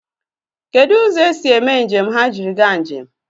Kedụ ụzọ esi eme njem ha jiri gaa njem?